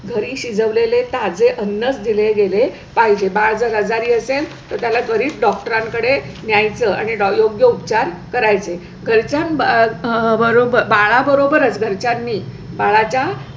घरी शिजवलेले ताजे अन्नच दिले गेले पाहिजे. बाळ आजारी असेल तर त्याला त्वरीत डॉक्टरां कडे न्याचं आणि योग्य उपचार करायचे घरच्यां बरोबर बाळा बरोबरच घरच्यांनी बाळाच्या